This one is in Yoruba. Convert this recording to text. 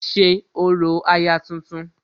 ṣe orò aya tuntun